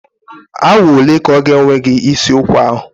Awa ole ka ọ ga-ewe gị isi ụkwa ahụ?